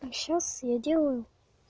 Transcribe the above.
а сейчас я делаю